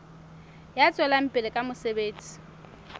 ya tswelang pele ka mosebetsi